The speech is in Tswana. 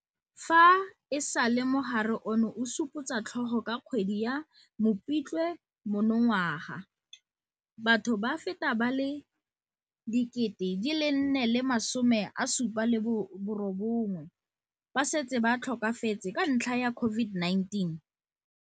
Fa e sale mogare ono o supotsa tlhogo ka kgwedi ya Mopitlwe monongwaga, batho ba feta ba le 4 079 ba setse ba tlhokafetse ka ntlha ya COVID-19.